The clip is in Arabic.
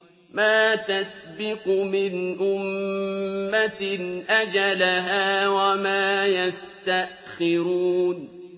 مَا تَسْبِقُ مِنْ أُمَّةٍ أَجَلَهَا وَمَا يَسْتَأْخِرُونَ